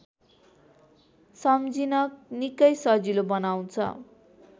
सम्झिन निकै सजिलो बनाउँछ